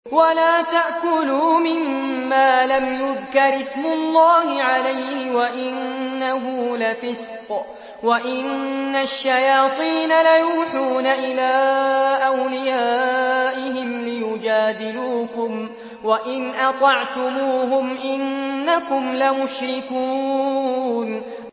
وَلَا تَأْكُلُوا مِمَّا لَمْ يُذْكَرِ اسْمُ اللَّهِ عَلَيْهِ وَإِنَّهُ لَفِسْقٌ ۗ وَإِنَّ الشَّيَاطِينَ لَيُوحُونَ إِلَىٰ أَوْلِيَائِهِمْ لِيُجَادِلُوكُمْ ۖ وَإِنْ أَطَعْتُمُوهُمْ إِنَّكُمْ لَمُشْرِكُونَ